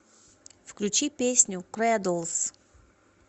включи песню крэдлс